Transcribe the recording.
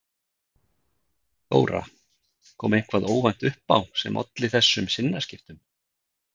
Þóra: Kom eitthvað óvænt upp á sem olli þessum sinnaskiptum?